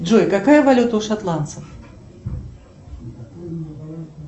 джой какая валюта у шотландцев